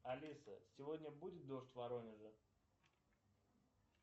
алиса сегодня будет дождь в воронеже